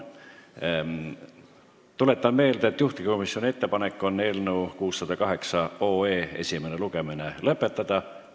Tuletan meelde, et juhtivkomisjoni ettepanek on eelnõu 608 esimene lugemine lõpetada.